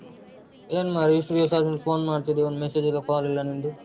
ಏನ್ ಮಾರಾಯ ಇಷ್ಟು ದಿವ್ಸ ಆದ್ಮೇಲೆ phone ಮಾಡ್ತಿದ್ದೀಯಾ ಒಂದು message ಇಲ್ಲಾ, call ಇಲ್ಲಾ ನಿಂದು?